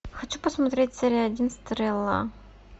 хочу посмотреть серия один стрела